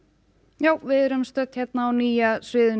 já við erum á nýja sviðinu